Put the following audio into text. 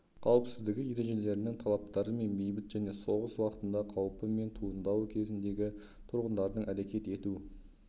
қауіпсіздігі ережелерінің талаптары мен бейбіт және соғыс уақытында қаупі мен туындауы кезіндегі тұрғындардың әрекет ету